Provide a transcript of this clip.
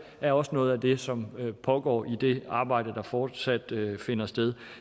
er også noget af det som pågår i det arbejde der fortsat finder sted